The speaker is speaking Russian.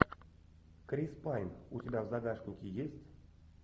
крис пайн у тебя в загашнике есть